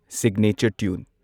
signature tune